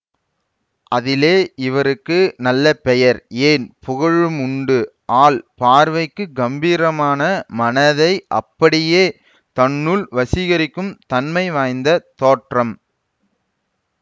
அதிலே இவருக்கு நல்ல பெயர் ஏன் புகழும் உண்டு ஆள் பார்வைக்குக் கம்பீரமான மனதை அப்படியே தன்னுள் வசீகரிக்கும் தன்மை வாய்ந்த தோற்றம்